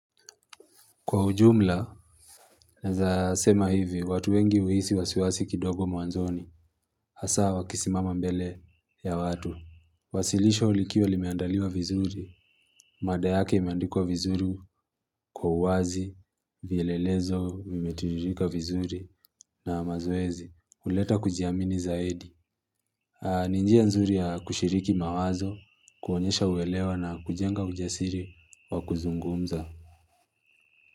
Kwa ujumla, naeza sema hivi, watu wengi huisi wasiwasi kidogo mwanzoni. Hasa wakisimama mbele ya watu. Wasilisho likiwa limeandaliwa vizuri. Mada yake imeandikwa vizuri kwa uwazi. Vielelezo, vimetiririka vizuri na mazoezi. Huleta kujiamini zaidi. Ni njia nzuri ya kushiriki mawazo, kuonyesha uelewa na kujenga ujasiri wa kuzungumza.